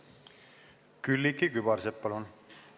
Külliki Kübarsepp, palun!